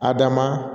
Adama